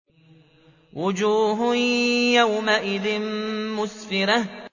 وُجُوهٌ يَوْمَئِذٍ مُّسْفِرَةٌ